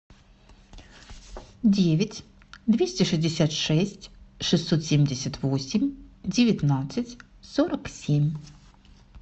девять двести шестьдесят шесть шестьсот семьдесят восемь девятнадцать сорок семь